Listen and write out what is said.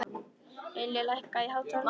Ylja, lækkaðu í hátalaranum.